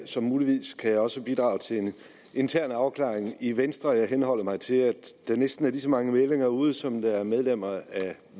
så muligvis kan jeg også bidrage til en intern afklaring i venstre jeg henholder mig til at der næsten er lige så mange meldinger ude som der er medlemmer af